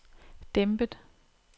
dæmpet